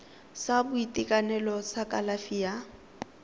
sa boitekanelo sa kalafi ya